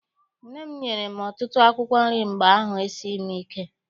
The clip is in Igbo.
Nne m nyere m ọtụtụ akwụkwọ nri mgbe ahụ esighị m ike.